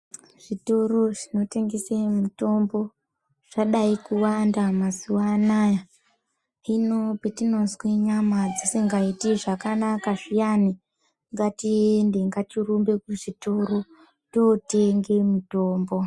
Zvitoro zvinotengese mitombo zvadai kuwanda mazuwa anaya. Hino petinonzwe nyama dzisingaiti zvakanaka zviyani, ngatiende ngatirumbe kuzvitoro totenge mitombo.